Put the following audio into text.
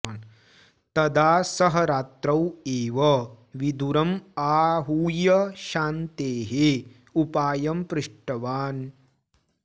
तदा सः रात्रौ एव विदुरम् आहूय शान्तेः उपायं पृष्टवान्